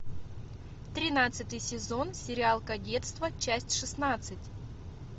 тринадцатый сезон сериал кадетство часть шестнадцать